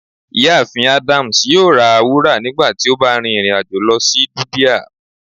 Ìyáàfín Adams yóò rá wúra nígbàtí o bá rin irin-ajo lọ si dubia.